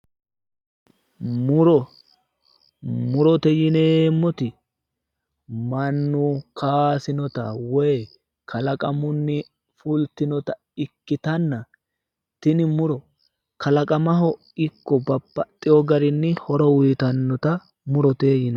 Muro, murote yinneemmoti mannu kaysinotta woyi kalaqamu fultinotta ikkittanna ,tini muro kalaqammaho ikko babbaxeyo garinni horo uyittanotta murote yinnanni